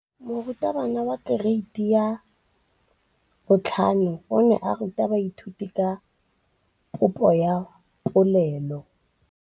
Moratabana wa kereiti ya 5 o ne a ruta baithuti ka popô ya polelô.